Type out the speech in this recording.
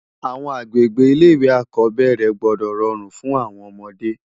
Awòn agbégbé ilé iwé ákòbèrè gbòdò ròrún fún áwòn òmòdé